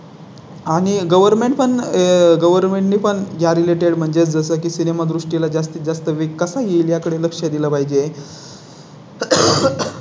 आणि Government पण आह Government ने पण ज्या Related म्हणजे जसं की सिनेमा दृष्टी ला जास्तीत जास्त वेळ कसा येईल याकडे लक्ष दिलं पाहिजे. आह